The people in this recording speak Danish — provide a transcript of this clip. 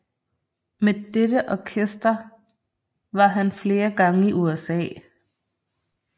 Med dette orkester var han flere gange i USA